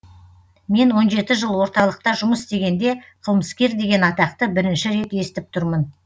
мен он жеті жыл орталықта жұмыс істегенде қылмыскер деген атақты бірінші рет естіп тұрмын